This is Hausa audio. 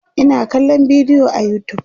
Ina kallan bidiyo a utube